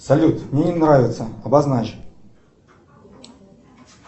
салют мне не нравится обозначь